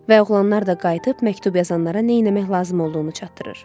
Və oğlanlar da qayıdıb məktub yazanlara nə eləmək lazım olduğunu çatdırır.